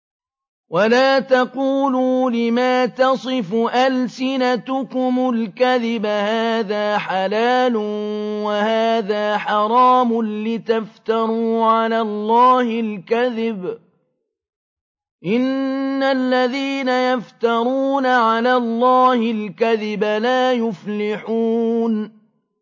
وَلَا تَقُولُوا لِمَا تَصِفُ أَلْسِنَتُكُمُ الْكَذِبَ هَٰذَا حَلَالٌ وَهَٰذَا حَرَامٌ لِّتَفْتَرُوا عَلَى اللَّهِ الْكَذِبَ ۚ إِنَّ الَّذِينَ يَفْتَرُونَ عَلَى اللَّهِ الْكَذِبَ لَا يُفْلِحُونَ